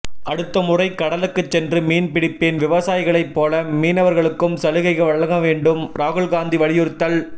அடுத்த முறை கடலுக்கு சென்று மீன் பிடிப்பேன் விவசாயிகளைப் போல மீனவர்களுக்கும் சலுகைகள் வழங்க வேண்டும் ராகுல்காந்தி வலியுறுத்தல்